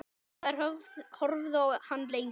Þær horfðu á hann lengi.